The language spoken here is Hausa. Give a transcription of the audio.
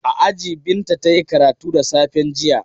A aji Binta ta yi karatu da safen jiya.